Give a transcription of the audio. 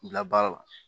Bila baara la